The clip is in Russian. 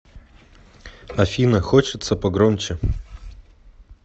афина хочется погромче